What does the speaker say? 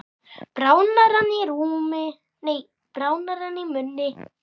Bráðnar hann í munni?